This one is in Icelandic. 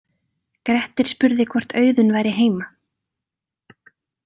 Grettir spurði hvort Auðunn væri heima.